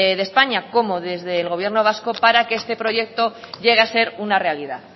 de españa como desde el gobierno vasco para que este proyecto llegue a ser una realidad